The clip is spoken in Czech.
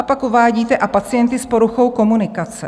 A pak uvádíte: "a pacienty s poruchou komunikace".